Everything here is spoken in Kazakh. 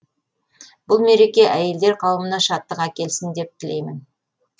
бұл мереке әйелдер қауымына шаттық әкелсін деп тілеймін